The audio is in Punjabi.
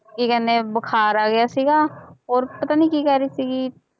ਕੀ ਕਹਿੰਦੇ ਬੁਖਾਰ ਆ ਗਿਆ ਸੀਗਾ ਹੋਰ ਪਤਾ ਨੀ ਕੀ ਕਹਿ ਰਹੀ ਸੀਗੀ